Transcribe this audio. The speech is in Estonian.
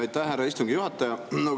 Aitäh, härra istungi juhataja!